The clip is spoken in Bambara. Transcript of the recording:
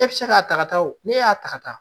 E bɛ se k'a ta ka taa ne y'a ta ka taa